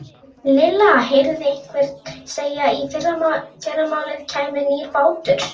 Lilla heyrði einhvern segja að í fyrramálið kæmi nýr bátur.